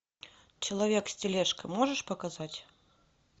человек с тележкой можешь показать